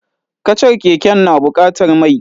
Kacar keken na bukatar mai.